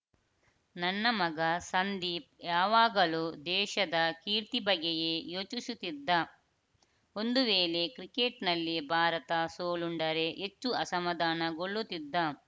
ನನ್ನ ಮಗ ಸಂದೀಪ್‌ ಯಾವಾಗಲೂ ದೇಶದ ಕೀರ್ತಿ ಬಗ್ಗೆಯೇ ಯೋಚಿಸುತ್ತಿದ್ದ ಒಂದು ವೇಳೆ ಕ್ರಿಕೆಟ್‌ನಲ್ಲಿ ಭಾರತ ಸೋಲುಂಡರೆ ಹೆಚ್ಚು ಅಸಮಾಧಾನಗೊಳ್ಳುತ್ತಿದ್ದ